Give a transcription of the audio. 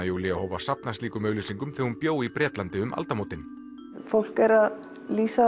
Júlía hóf að safna slíkum auglýsingum þegar hún bjó í Bretlandi um aldamótin fólk er að lýsa